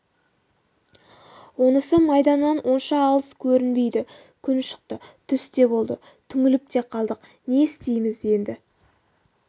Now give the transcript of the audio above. онысы майданнан онша алыс көрінбейді күн шықты түс те болды түңіліп те қалдық не істейміз енді